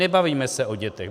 Nebavíme se o dětech.